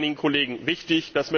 Das war einigen Kollegen wichtig.